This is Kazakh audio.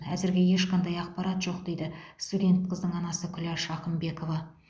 әзірге ешқандай ақпарат жоқ дейді студент қыздың анасы күләш ақымбекова